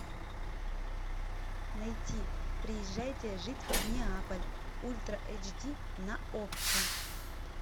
найти приезжайте жить в неаполь ультра эйч ди на окко